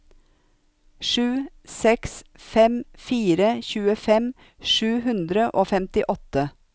sju seks fem fire tjuefem sju hundre og femtiåtte